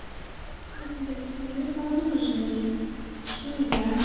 ясно девочки мы никому не нужны точнее я